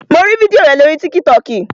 Mo rí fídíò rẹ̀ lórii tíkítọkì